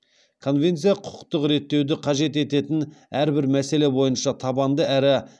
конвенция құқықтық реттеуді қажет ететін әрбір мәселе бойынша табанды әрі